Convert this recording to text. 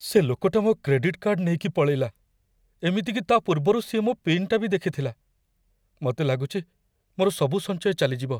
ସେ ଲୋକଟା ମୋ କ୍ରେଡିଟ୍ କାର୍ଡ଼୍ ନେଇକି ପଳେଇଲା । ଏମିତିକି ତା'ପୂର୍ବରୁ ସିଏ ମୋ ପିନ୍‌ଟା ବି ଦେଖିଥିଲା । ମତେ ଲାଗୁଚି, ମୋର ସବୁ ସଞ୍ଚୟ ଚାଲିଯିବ ।